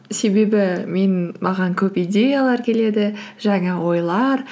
себебі маған көп идеялар келеді жаңа ойлар